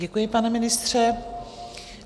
Děkuji, pane ministře.